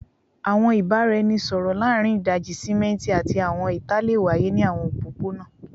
Awọn ibaraẹnisọrọ laarin idaji-simẹnti ati awọn ita le waye ni awọn opopona